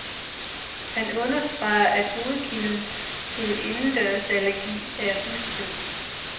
Han understreger, at hovedkilden til indendørsallergi er husstøv.